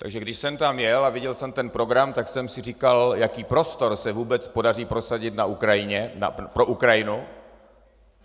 Takže když jsem tam jel a viděl jsem ten program, tak jsem si říkal, jaký prostor se vůbec podaří prosadit pro Ukrajinu.